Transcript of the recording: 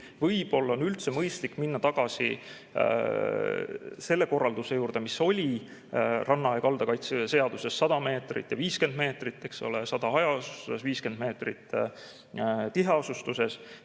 Võib-olla on üldse mõistlik minna tagasi selle korralduse juurde, mis oli ranna ja kalda kaitse seaduses: 100 meetrit ja 50 meetrit, eks ole, 100 meetrit hajaasustuses, 50 meetrit tiheasustuses.